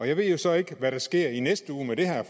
jeg ved jo så ikke hvad der sker i næste uge med det her